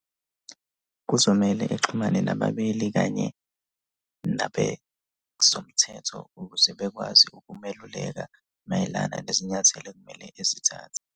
Kuzomele exhumane nabameli kanye nabezomthetho ukuze bekwazi ukumeluleka mayelana nezinyathelo ekumele ezithathe.